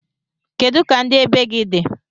kedu ka ndi ebighị di?